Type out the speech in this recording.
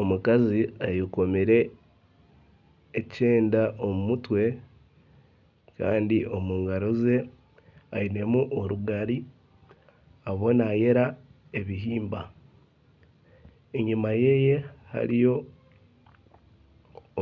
Omukazi ayekomire ekyenda omu mutwe kandi omu ngaro ze ainemu orugari ariyo naayera ebihimba enyuma ye hariyo